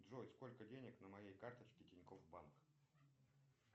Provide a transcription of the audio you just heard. джой сколько денег на моей карточке тинькофф банк